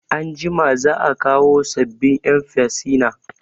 Anjima za'a kawo sabbin 'yan firsina.